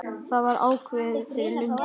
Það var ákveðið fyrir löngu.